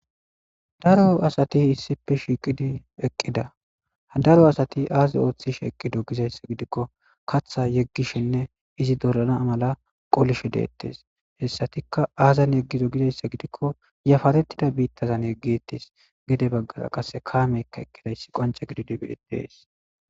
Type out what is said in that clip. daro asati issipe shiiqidi eqqida daro asati aazi ooththish eqqido gizayssa gidikko katha yeggishinne izi dorana mala qolishe deettes hessatikka aazan yeggido gizayssa gidikko yafarettida biittazan yeggittes gide baggara qase kaameykka eqqidayssi qonca gididi beetees